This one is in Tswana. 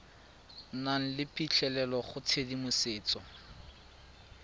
nang le phitlhelelo go tshedimosetso